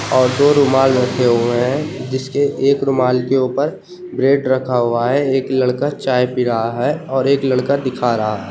और दो रुमाल रखे हुए हैं जिसके एक रुमाल के ऊपर ब्रेड रखा हुआ है एक लड़का चाय पी रहा है और एक लड़का दिखा रहा है।